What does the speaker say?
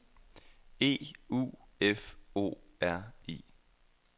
E U F O R I